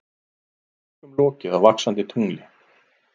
Tökum lokið á Vaxandi tungli